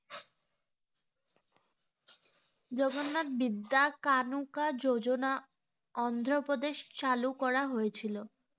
জগন্নাথ বিদ্যা কানুকা যোজনা অন্ধ্র প্রদেশ চালু করা হয়েছিল